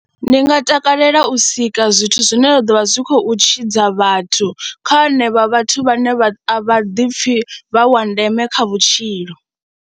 Ndi nga takalela u sika zwithu zwine zwa ḓo vha zwi khou tshidza vhathu kha hanevha vhathu vhane a vha ḓipfhi vha wa ndeme kha vhutshilo.